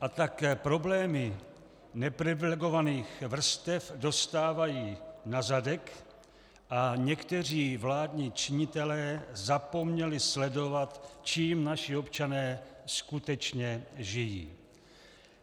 A tak problémy neprivilegovaných vrstev dostávají na zadek a někteří vládní činitelé zapomněli sledovat, čím naši občané skutečně žijí.